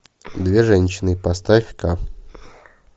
две женщины поставь ка